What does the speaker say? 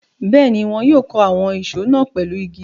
Bẹ́ẹ̀ ni, wọn yóò kó àwọn isọ̀ náà pẹ̀lú igi.